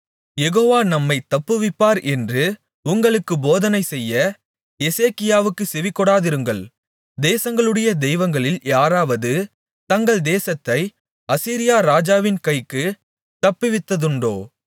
யெகோவா நம்மைத் தப்புவிப்பார் என்று உங்களுக்குப் போதனைசெய்ய எசேக்கியாவுக்குச் செவிகொடாதிருங்கள் தேசங்களுடைய தெய்வங்களில் யாராவது தங்கள் தேசத்தை அசீரியா ராஜாவின் கைக்குத் தப்புவித்ததுண்டோ